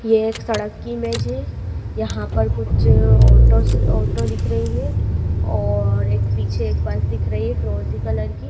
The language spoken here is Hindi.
ये एक सड़क की इमेज है यहाँ पर कुछ ऑटोस ऑटो दिख रही है और एक पीछे एक बस दिख रही है फिरोजी कलर की।